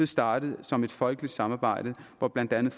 startet som et folkeligt samarbejde hvor blandt andet